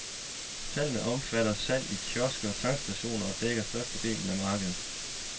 Talene omfatter salg i kiosker og tankstationer og dækker størstedelen af markedet.